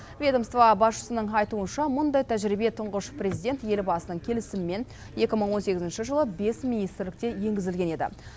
ведомство басшысының айтуынша мұндай тәжірибе тұңғыш президент елбасының келісімімен екі мың он сегізінші жылы бес министрлікте енгізілген еді